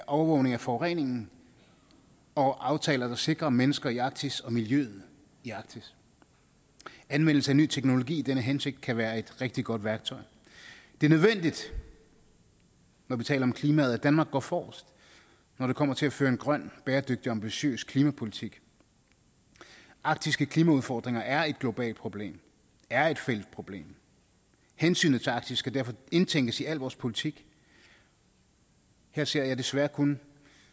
overvågning af forureningen og aftaler der sikrer mennesker i arktis og miljøet i arktis anvendelse af ny teknologi i denne hensigt kan være et rigtig godt værktøj det er nødvendigt når vi taler om klimaet at danmark går forrest når det kommer til at føre en grøn bæredygtig ambitiøs klimapolitik arktiske klimaudfordringer er et globalt problem er et fælles problem hensynet til arktis skal derfor indtænkes i al vores politik her ser jeg desværre kun